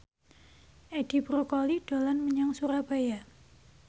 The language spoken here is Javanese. Edi Brokoli dolan menyang Surabaya